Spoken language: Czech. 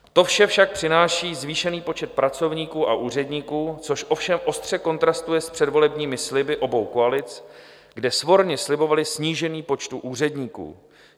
To vše však přináší zvýšený počet pracovníků a úředníků, což ovšem ostře kontrastuje s předvolebními sliby obou koalic, kde svorně slibovaly snížení počtu úředníků.